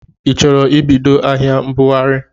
i chọrọ ibido ahịa mbụghari?